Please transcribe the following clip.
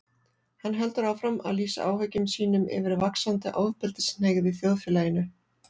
Hann heldur áfram að lýsa áhyggjum sínum yfir vaxandi ofbeldishneigð í þjóðfélaginu.